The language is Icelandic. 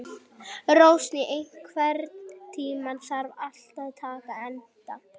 Rósný, einhvern tímann þarf allt að taka enda.